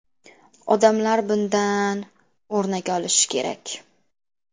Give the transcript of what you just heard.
Odamlar bundan o‘rnak olishi kerak.